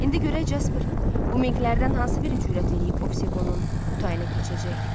İndi görək Caper, bu minqlərdən hansı biri cürət eləyib oseqonun butayına keçəcək.